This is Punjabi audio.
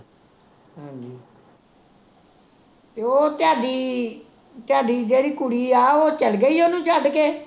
ਤੇ ਉਹ ਤੁਹਾਡੀ ਤੁਹਾਡੀ ਜਿਹੜੀ ਕੁੜੀ ਆ, ਉਹ ਚਲ ਗਈ ਓਹਨੂੰ ਛੱਡ ਕੇ?